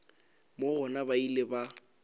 moo gona ba ile ba